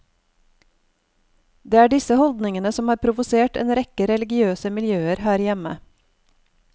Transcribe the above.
Det er disse holdningene som har provosert en rekke religiøse miljøer her hjemme.